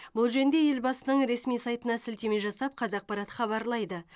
бұл жөнінде елбасының ресми сайтына сілтеме жасап қазақпарат хабарлайды